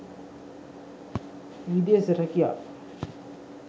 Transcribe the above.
videsa rakiya